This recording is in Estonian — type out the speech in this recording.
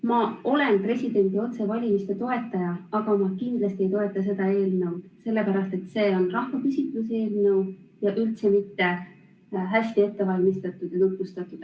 Ma olen presidendi otsevalimise toetaja, aga ma kindlasti ei toeta seda eelnõu, sellepärast et see on rahvahääletuse eelnõu ja üldse mitte hästi ette valmistatud ja tutvustatud.